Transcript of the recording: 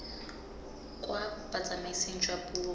kwa botsamaising jwa puo kwa